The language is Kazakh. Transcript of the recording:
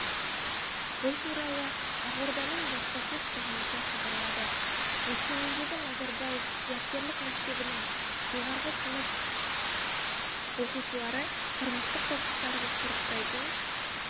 бұл туралы ақорданың баспасөз қызметі хабарлады өскемендегі назарбаев зияткерлік мектебінің жоғарғы сынып оқушылары тұрмыстық қоқыстарды сұрыптайтын